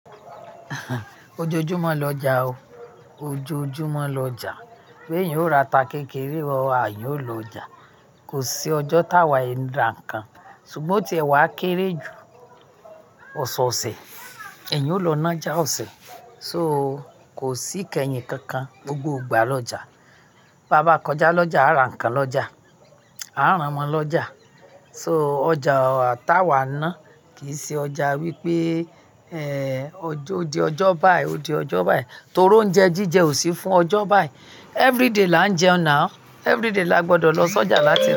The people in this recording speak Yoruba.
Ojoojúmọ́ lọjà o, ojoojúmọ́ lọjà. Bí èyín o ra ata kékeré, àìní o lọ ọjà. Kò sí ọjọ́ tá wàì ra nǹkan. Sugbon tí ẹ wá kééré ju ọ̀sọ̀ọ̀sẹ̀, ẹ̀yin ó lọ nájà ọ̀sẹ̀. So kò sí ìkẹyìn kankan, gbogbo ìgbà lọjà. Bàbá kọjá lọjà, a ra nǹkan lọjà, a rán wọn lọjà. So ọjà tá wá ná, kìí ṣe ọjà wípé ẹ ọjọ́, ó di ọjọ́ báyìí, ó di ọjọ́ báyìí. Torí oúnjẹ jíjẹ ò sí fún ọjọ́ báyìí. Everyday là ń jẹun ná. Everyday là gbọdọ̀ lọ sójà láti.